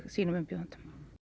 sínum umbjóðendum